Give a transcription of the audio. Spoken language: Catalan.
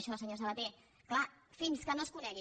això senyor sabaté clar fins que no es conegui